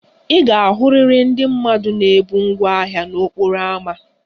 Ị ga-ahụrịrị ndị mmadụ na-ebu ngwá ahịa n'okporo ámá